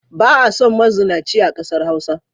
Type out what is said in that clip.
Ba a son mazunaci a ƙasar Hausa.